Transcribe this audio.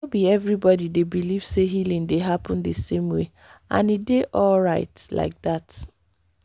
no be everybody dey believe healing dey happen the same way—and e dey alright like that.